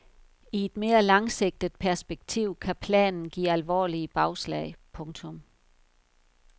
I et mere langsigtet perspektiv kan planen give alvorlige bagslag. punktum